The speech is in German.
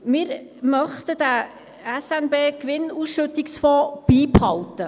– Wir möchten den SNB-Gewinnausschüttungsfonds beibehalten.